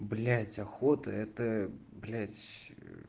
блять охота это блять